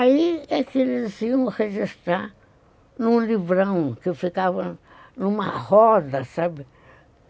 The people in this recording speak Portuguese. Aí é que eles iam registrar num livrão, que ficava numa roda, sabe?